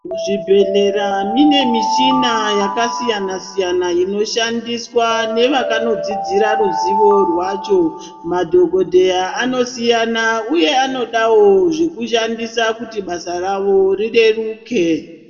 Muzvibhedhlera mune michina yakasiyana-siyana inoshandiswa nevakadzidzira ruzivo rwacho madhokodheya anosiyana uye anodawo zvekushandisana kuti basa rawo rireruke.